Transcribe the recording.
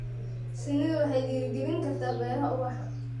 Shinnidu waxay dhiirigelin kartaa beeraha ubaxa.